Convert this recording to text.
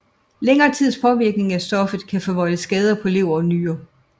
Længere tids påvirkning af stoffet kan forvolde skader på lever og nyrer